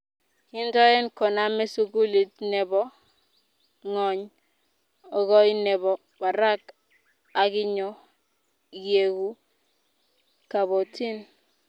Kintoen koname sukulit ne bo ngony okoi ne bo barak akinyoo ieku kabotin?